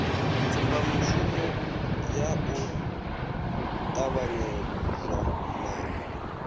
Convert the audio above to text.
tsumbamushumo ya u ṱavhanyezwa na